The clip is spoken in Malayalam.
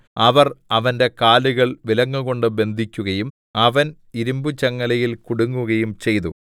അവർ അവന്റെ കാലുകൾ വിലങ്ങുകൊണ്ട് ബന്ധിക്കുകയും അവൻ ഇരിമ്പു ചങ്ങലയിൽ കുടുങ്ങുകയും ചെയ്തു